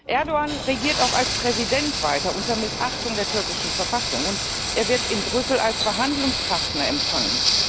Erdoğan regiert auch als Präsident weiter unter Missachtung der türkischen Verfassung, und er wird in Brüssel als Verhandlungspartner empfangen.